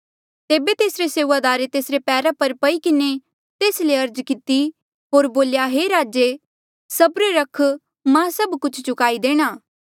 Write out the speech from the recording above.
तेबे तेसरे सेऊआदारे तेसरे पैरा पर पई किन्हें तेस ले अर्ज किती होर बोल्या हे राजे सब्र रख मां सब कुछ चुकाई देणा